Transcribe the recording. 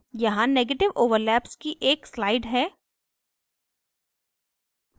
यहाँ negative overlaps की एक slide है